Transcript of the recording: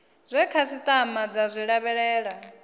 zwe khasitama dza zwi lavhelela